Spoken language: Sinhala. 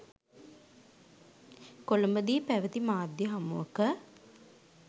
කොළඹදී පැවති මාධ්‍ය හමුවක